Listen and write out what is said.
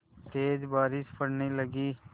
तेज़ बारिश पड़ने लगी